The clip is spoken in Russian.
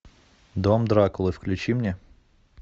дом дракулы включи мне